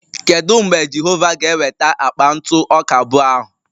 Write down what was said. Kedu mgbe Jehova ga-eweta akpa ntụ ọka abụọ ahụ?